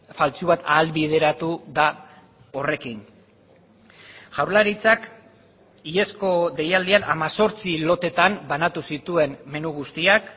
faltsu bat ahalbideratu da horrekin jaurlaritzak iazko deialdian hemezortzi loteetan banatu zituen menu guztiak